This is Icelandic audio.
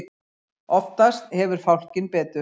Oftast hefur fálkinn betur.